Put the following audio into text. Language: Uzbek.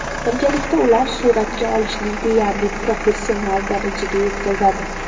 Birgalikda ular suratga olishni deyarli professional darajaga yetkazadi.